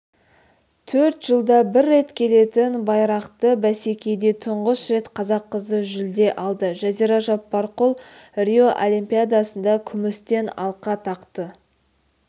төрт жылда бір рет келетін байрақты бәсекеде тұңғыш рет қазақ қызы жүлде алды жазира жаппарқұл рио олимпиадасында күмістен алқа тақты